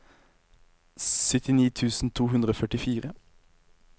syttini tusen to hundre og førtifire